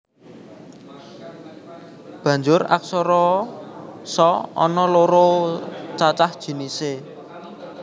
Banjur aksara sa ana loro cacah jinisé